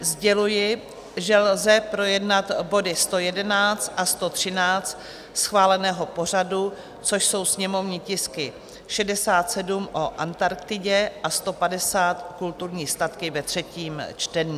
Sděluji, že lze projednat body 111 a 113 schváleného pořadu, což jsou sněmovní tisky 67 o Antarktidě a 150, kulturní statky, ve třetím čtení.